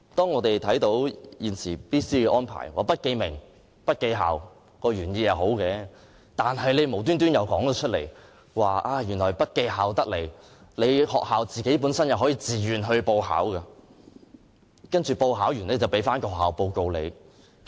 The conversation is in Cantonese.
我們看到現時 BCA 的安排，不記名和不記校的原意是好的，但政府卻又提出，即使不記校，學校也可以自願報考，然後可取得報告。